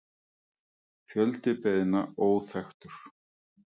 Fjöldi beiðna óþekktur